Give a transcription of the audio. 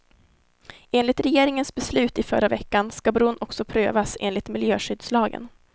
Enligt regeringens beslut i förra veckan ska bron också prövas enligt miljöskyddslagen.